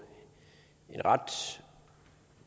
en